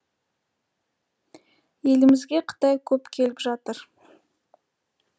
елімізге қытай көп келіп жатыр